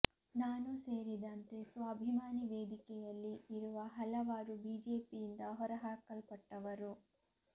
ನಾನೂ ಸೇರಿದಂತೆ ಸ್ವಾಭಿಮಾನಿ ವೇದಿಕೆಯಲ್ಲಿ ಇರುವ ಹಲವರು ಬಿಜೆಪಿಯಿಂದ ಹೊರ ಹಾಕಲ್ಪಟ್ಟವರು